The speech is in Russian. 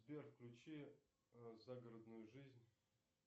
сбер включи загородную жизнь